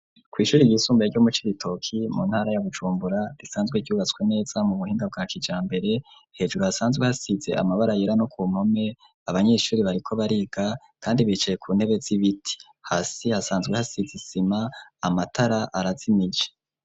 kwishuri ry'isumbuye ryo mucibitoki, mu ntara ya Bujumbura, risanzwe ryubatswe neza mu buhinga bwa kijambere , hejuru hasanzwe hasize amabara yera no ku bihome , abanyeshuri bariko bariga , kandi bicaye ku ntebe z'ibiti . Hasi hasanzwe hasize isima, amatara arazimije